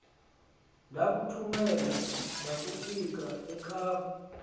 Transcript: ndokuthumela ndakufika ekhava